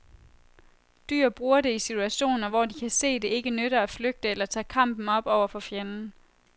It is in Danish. Dyr bruger det i situationer, hvor de kan se det ikke nytter at flygte eller tage kampen op over for fjenden.